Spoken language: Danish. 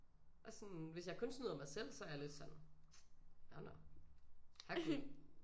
Og sådan hvis jeg kun snyder mig selv så er jeg lidt sådan nåh nåh herregud